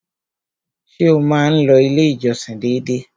Ṣé o má n lọ ilé ìjọsìn dédé?